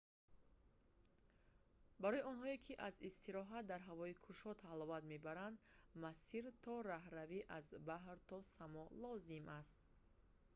барои онҳое ки аз истироҳат дар ҳавои кушод ҳаловат мебаранд масир то роҳрави «аз баҳр то само» лозим аст